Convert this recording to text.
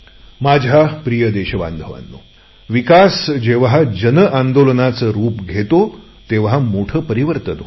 माझ्या प्रिय देशबांधवांनो विकास जेव्हा जन आंदोलन बनते तेव्हा मोठे परिवर्तन होते